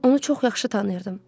Onu çox yaxşı tanıyırdım.